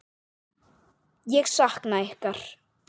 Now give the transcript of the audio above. Ég sakna ykkar.